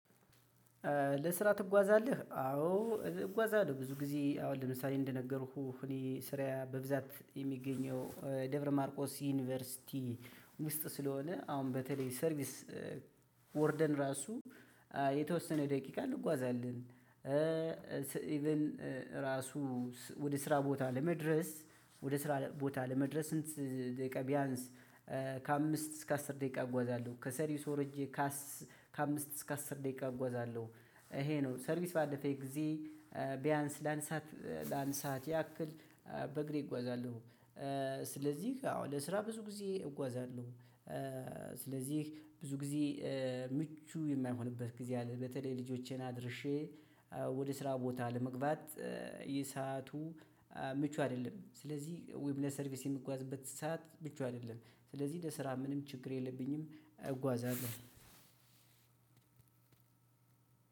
ለስራ ትጓዛለህ? አዎ እጓዛለሁ ብዙ ጊዜ አሁን ለምሳሌ እንደነገርኩህ እኔ ስራዬ በብዛት የሚገኘው ደብረ ማርቆስ ዩኒቨርሲቲ ውስጥ ስለሆነ አሁን በተለይ ሰርቪስ። ወርደን ራሱ። የተወሰነ ደቂቃ እንጓዛለን እንዲሁም እራሱ ወደ ስራ ቦታ ለመድረስ ወደ ስራ ቦታ ለመድረስ ስንት ደቂቃ ቢያንስ? ከአምስት እስከ አስር ደቂቃ እጓዛለሁ ከሰርቪስ ወርጄ። ከአምስት እስከ አስር ደቂቃ እጓዛለሁ። ይሄ ነው ሰርቪስ ባለፈኝ ጊዜ። ቢያንስ ለአንድ ስዓት ለአንድ ስዓት ያክል በእግሬ እጓዛለሁ። ስለዚህ አዎ ለስራ ብዙ ጊዜ እጓዛለሁ። ስለዚህ ብዙ ጊዜ ምቹ የማይሆንበት ጊዜ አለ። በተለይ ልጆቼን አድርሼ ወደ ስራ ቦታ ለመግባት። የሰአቱ ምቹ አይደለም። ስለዚህ ወይም ለሰርቪስ የምጓዝበት ሰዓት ምቹ አይደለም። ስለዚህ ለስራ ምንም ችግር የለብኝም እጓዛለሁ።